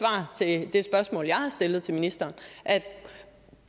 svar jeg har stillet til ministeren